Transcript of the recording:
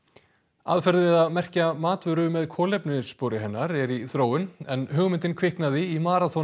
aðferð við að merkja matvöru með kolefnisspori hennar er í þróun en hugmyndin kviknaði í